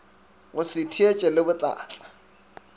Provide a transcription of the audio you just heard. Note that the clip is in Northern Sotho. go se theetše le botlatla